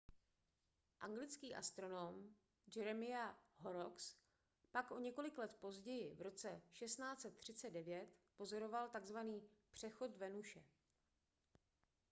anglický astronom jeremiah horrocks pak o několik let později v roce 1639 pozoroval tzv přechod venuše